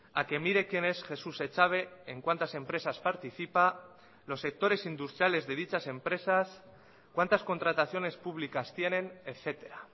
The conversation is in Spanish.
a que mire quién es jesús echave en cuántas empresas participa los sectores industriales de dichas empresas cuántas contrataciones públicas tienen etcétera